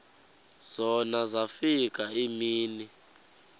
zona zafika iimini